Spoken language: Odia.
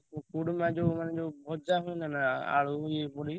କୁରୁମା ଯୋଉ ମାନେ ଯୋଉ ଭଜା ଆଳୁ ଇଏ ପଡି।